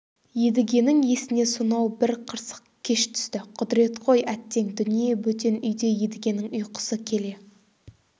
едігенің есіне сонау бір қырсық кеш түсті құдірет қой әттең дүние бөтен үйде едігенің ұйқысы келе